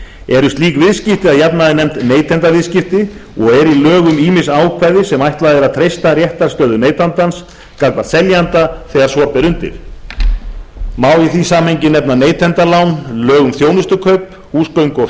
eru slík viðskipti að jafnaði nefnd neytendaviðskipti og eru í lögum ýmis ákvæði sem ætlað er að treysta réttarstöðu neytandans gagnvart seljanda þegar svo ber undir má í því samhengi nefna neytendalán lög um þjónustukaup húsgöngu og